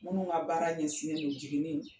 Minnu ka baara ɲɛsin don jiginin